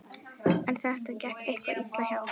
En þetta gekk eitthvað illa hjá